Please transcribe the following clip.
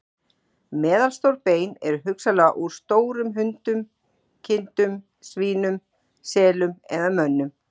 Meðalstór bein eru hugsanlega úr stórum hundum, kindum, svínum, selum eða mönnum.